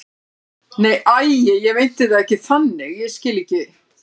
Nei, æi, ég meinti það ekki þannig, ég skil ekki.